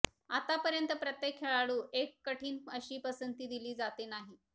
आतापर्यंत प्रत्येक खेळाडू एक कठीण अशी पसंती दिली जाते नाही